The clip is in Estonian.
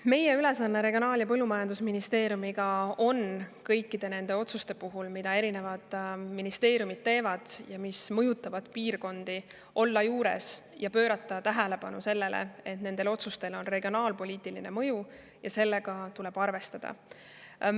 Meie ülesanne Regionaal‑ ja Põllumajandusministeeriumiga on kõikide nende otsuste puhul, mida erinevad ministeeriumid teevad ja mis mõjutavad piirkondi, juures olla ja pöörata tähelepanu sellele, et nendel otsustel oleks regionaalpoliitiline mõju, millega tuleb arvestada.